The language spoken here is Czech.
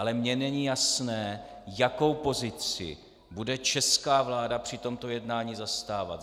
Ale mně není jasné, jakou pozici bude česká vláda při tomto jednání zastávat.